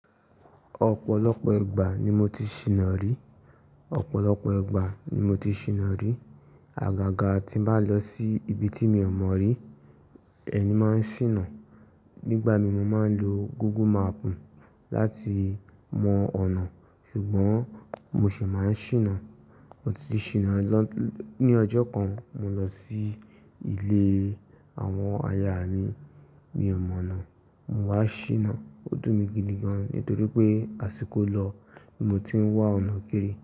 Ọ̀pọ̀lọpọ̀ ìgbà ni mo ti ṣìnà ri. Ọ̀pọ̀lọpọ̀ ìgbà ni mo ti ṣìnà ri. Àgàgà tí bá lọ sí ibi tí mi ò mọ̀ ri, èmi máa ń ṣìnà. Nígbà mi mo máa ń lo Google map láti mọ ọ̀nà, ṣùgbọ́n mo ṣìmáa ń ṣìnà. Mo ti ṣìnà, ní ọjọ́ kan mo lọ sí ilé àwọn aya mi, mi ò mọ̀ ọ̀nà. Mo wá ṣìnà, ó dùn mi gidi gan nítorí pé àsìkò lọ ni mo ti ń wá ọ̀nà kiri.